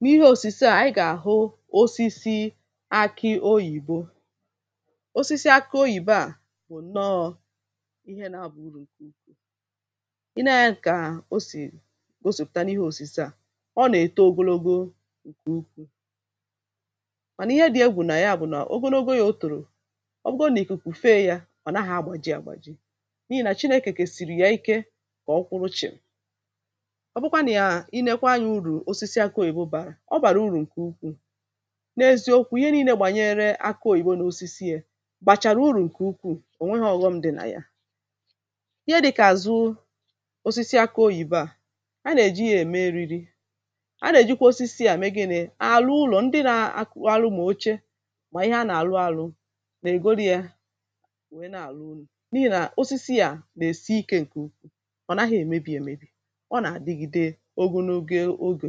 n’ihe osisi à ànyị gà-àhụ osisi akị oyìbo osisi akị oyìbe à bụ̀ nọọ ihe na-agba uru ǹke ukwu i na-eyė ǹkà o sì gosìpụ̀ta n’ihe osisi à ọ nà-èto ogologo ìkè ukwuù mànà ihe dị̇ e gbùrù nà ya bụ̀ nà ogologo yȧ o tụ̀rụ̀ ọ bụrụ nà ị kà pùfe yȧ ọ̀ naghọ̇ agbà ji àgbà ji n’ihì nà chinėkèkè siri ya ike kà ọkwụrụchị̀ ọ bụkwa nà ya inėkwa anyȧ uru ọ bàrà ụrụ̀ ǹkè ukwu̇ n’eziokwu̇ ihe niilė gbànyere akụ̇ òyibo n’osisi yȧ bàchàrà urù ǹkè ukwu̇ ò nweghȧ ọ̀ghọṁ dị̀ nà ya ihe dị̇kà àzụ osisi akụ̇ òyibo à a nà-èji yȧ ème eriri a nà-èjikwa osisi à mee gị nà arụ ụlọ̀ ndị na arụ mà oche mà ihe a nà-àrụ arụ̇ nà-ègoro yȧ nwèe na-àrụ unu̇ n’ihì nà osisi à nà-èsi ikė ǹkè ukwu̇ ọ̀ naghị̇ èmebì èmebì ọ nà-àdigide ogonugie ogè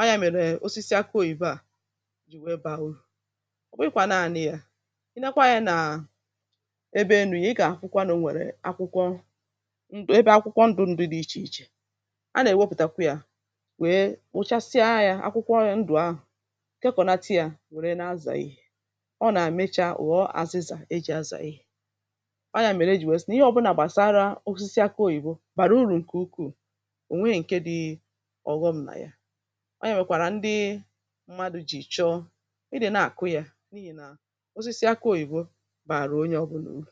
a yà mèrè osisi akụ oyìbo à jì wèe baa urù ọ̀ bụghị̇kwà naȧnị̇ yà i lekwa anyȧ nà ebe enù ya ị gà-àkwụkwa n’o nwèrè akwụkwọ ndụ̀ ebe akwụkwọ ndụ̇ ndụ̀ dị ichè ichè a nà-èwepùtakwa yȧ wèe ụchasịa yȧ akwụkwọ ndụ̀ ahụ̀ ǹke kọ̀naata yȧ wère na-azà ihė ọ nà-àmechaa ùghọ àzịzà e jì azà ihė ọ ya mèrè e jì westi nà ihe ọ̇bụ̇nà gbàsara osisi akụ oyìbo bàrà urù ǹkè ukwuù ọ nà-èwèkwàrà ndị mmadụ̇ jì ị̀chọ ịdị̇ na-àkụ ya n’ihì nà osisi akụ̇ oyìbo bàrà onye ọbụlà uru